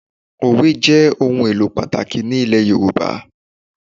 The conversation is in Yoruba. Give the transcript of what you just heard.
Òwe jẹ́ ohun èlò pàtàkì ní ilẹ̀ Yorùbá